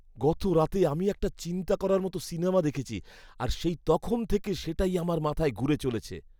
গতরাতে আমি একটা চিন্তা করার মতো সিনেমা দেখেছি আর সেই তখন থেকে সেটাই আমার মাথায় ঘুরে চলেছে।